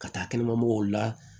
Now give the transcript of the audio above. Ka taa kɛnɛma mɔgɔw la